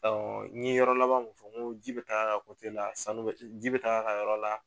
n ye yɔrɔ laban min fɔ n ko ji bɛ taa la, sanu bɛ ji bɛ taa a ka yɔrɔ la